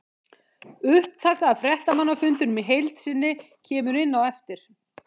Upptaka af fréttamannafundinum í heild sinni kemur inn á eftir.